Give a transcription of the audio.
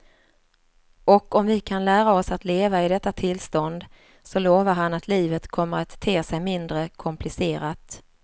Och om vi kan lära oss att leva i detta tillstånd så lovar han att livet kommer att te sig mindre komplicerat.